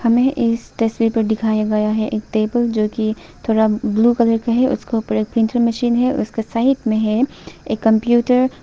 हमें इस तस्वीर पर दिखाया गया है एक टेबल जो कि थोड़ा ब्लू कलर में है उसका ऊपर एक प्रिंटर मशीन है उसका साइड में है एक कंप्यूटर --